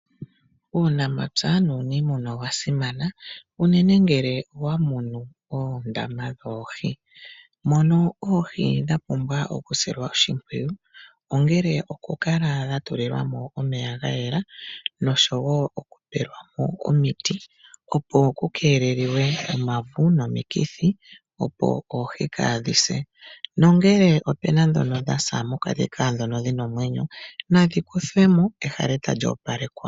Uunamapya nuunimuna owa simana uunene ngele owa munu oondama dhoohi mono oohi dha pumbwa oku sililwa mo oshimpwiyu ongele oku kala dha tulilwa mo omeya ga yela oshowo oku peyelwa mo omiti, opo ku keelelwe uuvu nomikithi, opo oohi kaadhi se. Nongele opuna ndhono dhasa mokati kaandhono dhina omwenyo nadhi kuthwemo ehala etali opalekwa.